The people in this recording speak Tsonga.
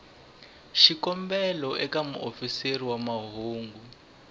xikombelo eka muofisiri wa mahungu